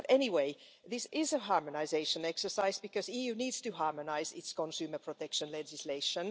But anyway, this is a harmonisation exercise, because the EU needs to harmonise its consumer protection legislation.